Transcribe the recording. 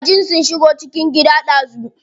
Kajin sun shigo cikin gida dazu.